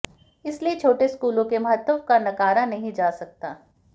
इसलिए छोटे स्कूलों के महत्व का नकारा नहीं जा सकता